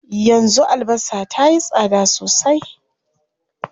Yanzu albasa tayi tsada sosai.